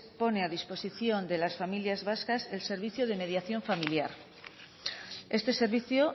pone a disposición de las familias vascas el servicio de mediación familiar este servicio